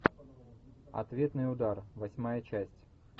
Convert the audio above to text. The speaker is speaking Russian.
ответный удар восьмая часть